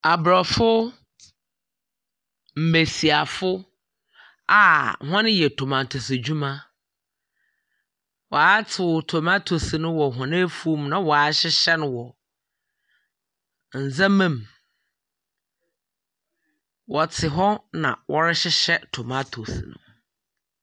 Abrofo mbesiafo a ɔreyɛ aninkyemono ho adwuma. Wa tew aninkyemono no wɔ wɔn afuom na wɔahyehyɛ no wɔ neɛma mu. Ɔte hɔ na ɔrehwehwɛ aninkyemono no.